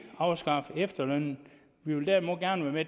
afskaffe efterlønnen vi vil derimod gerne være med